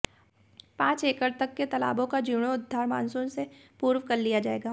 पांच एकड़ तक के तालाबों का जीर्णोद्धार मानसून से पूर्व कर लिया जाएगा